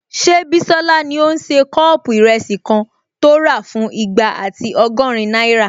Ṣé Bísọ́lá ní o n ṣe kọ́ọ̀pù ìrẹsì kan tó rà fún igba ati ọgọ́rin náírà?